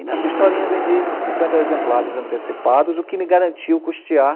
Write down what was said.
E nessa historinha vendi uns cinquenta exemplares antecipados, o que me garantiu custear